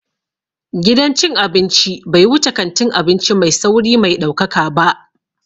Gidan cin abinci bai wuce kantin abinci mai sauri mai ɗaukaka ba